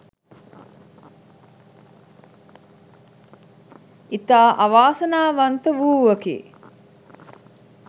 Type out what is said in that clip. ඉතා අවාසනාවන්ත වූවකි.